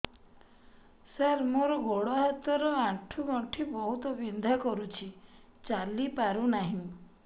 ସାର ମୋର ଗୋଡ ହାତ ର ଆଣ୍ଠୁ ଗଣ୍ଠି ବହୁତ ବିନ୍ଧା କରୁଛି ଚାଲି ପାରୁନାହିଁ